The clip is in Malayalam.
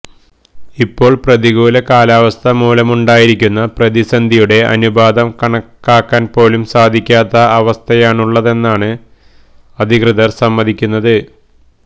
ഇപ്പോള് പ്രതികൂലമായ കാലാവസ്ഥ മൂലമുണ്ടായിരിക്കുന്ന പ്രതിസന്ധിയുടെ അനുപാതം കണക്കാക്കാന് പോലും സാധിക്കാത്ത അവസ്ഥയാണുള്ളതെന്നാണ് അധികൃതര് സമ്മതിക്കുന്നത്